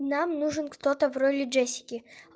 нам нужен кто-то в роли джессики